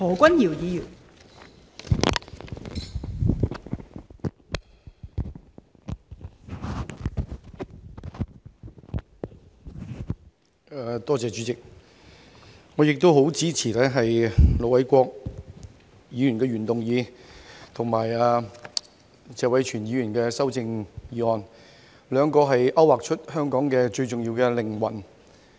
代理主席，我十分支持盧偉國議員的原議案及謝偉銓議員的修正案，兩者均勾劃出香港最重要的靈魂。